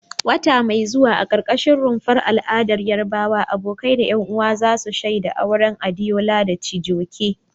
Wata mai zuwa, a karkashin rumfar al'adar Yarbawa, abokai da 'yan uwa za su shaida auren Adeola da Chijioke.